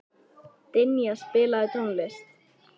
Dynja, spilaðu tónlist.